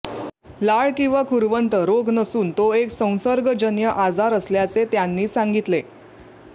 लाळ किंवा खुरवंत रोग नसून तो एक संसर्गजन्य आजार असल्याचे त्यांनी सांगितले